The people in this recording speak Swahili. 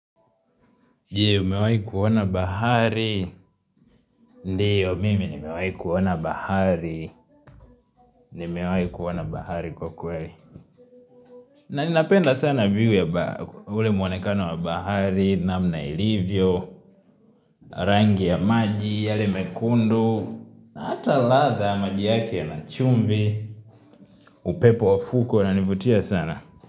Jie umewai kuona bahari? Ndiyo mimi nimewai kuona bahari. Nimewai kuona bahari kwa kweli. Na ninapenda sana view, ule muonekano wa bahari, namna ilivyo Rangi ya maji yale mekundu, na hata ladha maji yake ina chumvi. Upepo wa fukwe unanivutia sana.